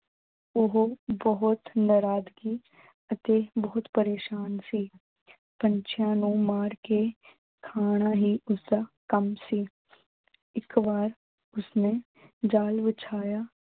ਓਹੋ ਬਹੁਤ ਨਰਾਦਗੀ ਅਤੇ ਬਹੁਤ ਪ੍ਰੇਸ਼ਾਨ ਸੀ। ਪੰਛੀਆਂ ਨੂੰ ਮਾਰ ਕੇ ਖਾਣਾ ਹੀ ਉਸਦਾ ਕੰਮ ਸੀ ਇੱਕ ਵਾਰ ਉਸਨੇ ਜਾਲ ਵਿਛਾਇਆ